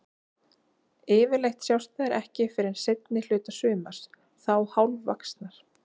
Yfirleitt sjást þær ekki fyrr en seinni hluta sumars, þá hálfvaxnar.